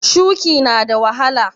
Shuƙi na da wahala?